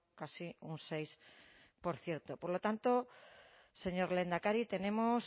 casi un seis por ciento por lo tanto señor lehendakari tenemos